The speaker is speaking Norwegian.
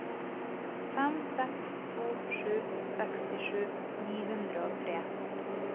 fem seks to sju sekstisju ni hundre og tre